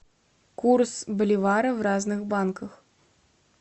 курс боливара в разных банках